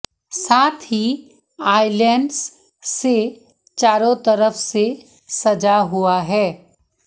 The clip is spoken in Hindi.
साथ ही आइलैंड्स से चारों तरफ से सजा हुआ है